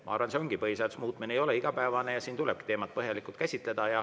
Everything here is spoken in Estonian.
Ma arvan, et kuna põhiseaduse muutmine ei ole igapäevane, siis tulebki seda teemat põhjalikult käsitleda.